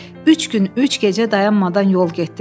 Üç gün, üç gecə dayanmadan yol getdilər.